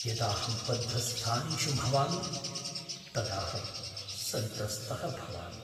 यदाहं बद्धस्थानेषु भवामि तदाहं सन्त्रस्तः भवामि।